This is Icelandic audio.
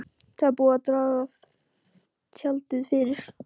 Það er búið að draga tjaldið fyrir.